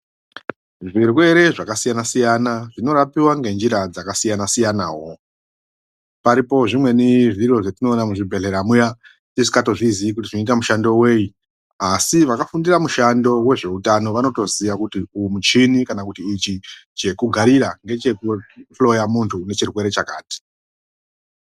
Zvirwere zvakasiyana siyana zvinorapwa ngenjira dzakasiyana siyanawo zvimweni zviro zvatinoona muzvibhedhleya muya tisikatozviziyi kuti zvinoita mushando weyi asi vakafundira mushando wezveutano vanitizviziya kuti uwu muchini kana kuti ichi chekugarira ngechekuhloya muntu une chirwere chakati.